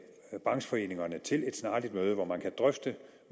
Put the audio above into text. brancheforeningerne til et snarligt møde hvor man kan drøfte